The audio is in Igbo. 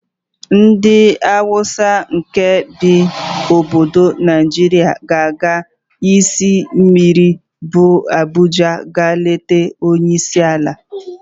Ndị Hausa nkè bi n'ime obodo Naịjirịa ga-aga isi mmiri bu Abuja ịga leta onyeisiala.